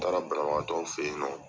taara banabagatɔw fɛ ye nɔ.